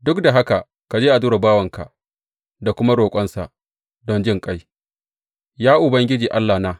Duk da haka ka ji addu’ar bawanka da kuma roƙonsa don jinƙai, ya Ubangiji Allahna.